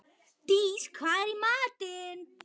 Dís, hvað er í matinn?